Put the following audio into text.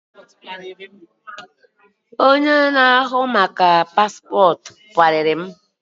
Onye na ahu maka Paspotu kpariri m